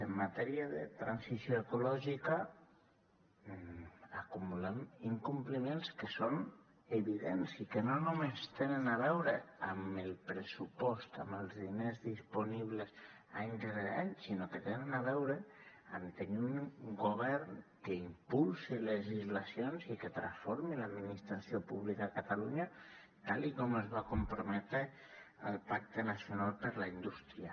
en matèria de transició ecològica acumulem incompliments que són evidents i que no només tenen a veure amb el pressupost amb els diners disponibles any rere any sinó que tenen a veure amb tenir un govern que impulsi legislacions i que transformi l’administració pública a catalunya tal com es va comprometre al pacte nacional per a la indústria